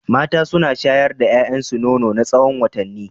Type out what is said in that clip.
Mata suna shayar da 'ya'yansu nono na tsawon watanni.